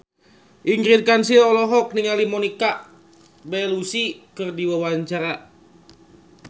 Ingrid Kansil olohok ningali Monica Belluci keur diwawancara